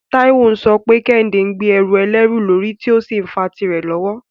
Taiwo ń sọ pé Kehinde ń gbé ẹrù ẹlẹ́rù lórí tí ó sì ń fa tìrẹ lọ́wọ́.